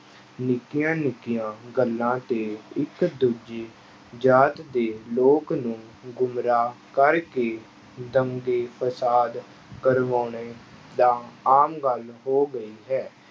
ਨਿੱਕੀਆਂ ਨਿੱਕੀਆਂ ਗੱਲਾਂ ਤੇ ਇੱਕ ਦੂਜੇ ਜਾਤ ਦੇ ਲੋਕ ਨੂੰ ਗੁੰਮਰਾਹ ਕਰਕੇ ਦੰਗੇ ਫਸਾਦ ਕਰਵਾਉਣੇ ਤਾਂ ਆਮ ਗੱਲ ਹੋ ਗਈ ਹੈ।